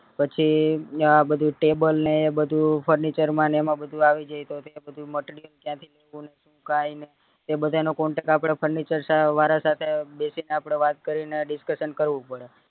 પછી ન્યા બધું table ને એ બધું furniture માં ને બધું આવી જાય તો આપડે બધું material ત્યાં થીજ તે બધા નો contact આપડે furniture વારા સાથે બેસી ને આપડે વાત કરીને discussion કરવું પડે